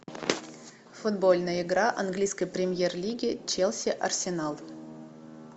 футбольная игра английской премьер лиги челси арсенал